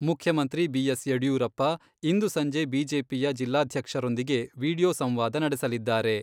ಮುಖ್ಯಮಂತ್ರಿ ಬಿ.ಎಸ್.ಯಡಿಯೂರಪ್ಪ ಇಂದು ಸಂಜೆ ಬಿಜೆಪಿಯ ಜಿಲ್ಲಾಧ್ಯಕ್ಷರೊಂದಿಗೆ ವಿಡಿಯೋ ಸಂವಾದ ನಡೆಸಲಿದ್ದಾರೆ.